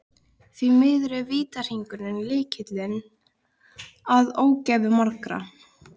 Því miður er vítahringur lykillinn að ógæfu margra.